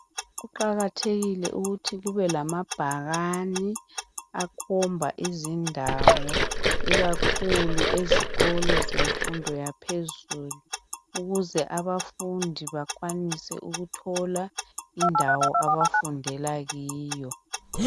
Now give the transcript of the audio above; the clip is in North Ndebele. Kuqakathekile ukuthi kube lamabhakane akhomba izindawo ikakhulu ezikolo zemfundo yaphezulu ukuze abafundi bakwanise ukuthola indawo abafundela kiyo